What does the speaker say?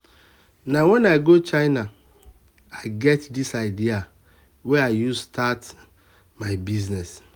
na wen i go china i get di idea wey i use start my business.